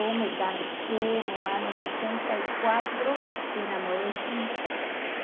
me casei no ano sessenta e quatro e namorei cinco anos.